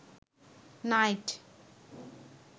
night